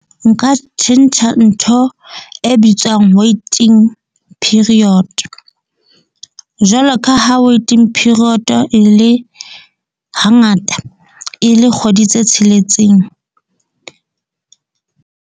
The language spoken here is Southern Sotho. Nka tjhentjha ntho e bitswang waiting period, jwalo ka ha waiting period-o e le hangata e le kgwedi tse tsheletseng.